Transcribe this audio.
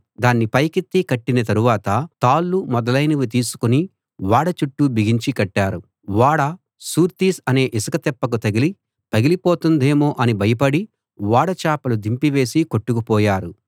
దాన్ని పైకెత్తి కట్టిన తరువాత తాళ్ళు మొదలైనవి తీసుకుని ఓడ చుట్టూ బిగించి కట్టారు ఓడ సూర్తిస్ అనే ఇసుకతిప్పకు తగిలి పగిలిపోతుందేమో అని భయపడి ఓడ చాపలు దింపివేసి కొట్టుకుపోయారు